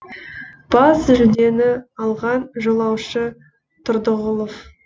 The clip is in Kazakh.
бас жүлдені алған жолаушы тұрдығұлов